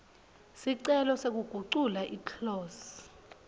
sicelo sekugucula iclose